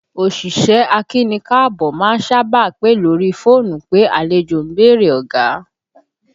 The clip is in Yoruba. Òṣìṣẹ́ akíni-káàbọ́ má ń sábà pè lórí fóònù pé àlejò ń bèrè ọ̀gá